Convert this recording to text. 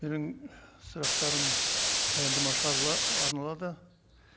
менің і сұрақтарым баяндамашыға арналады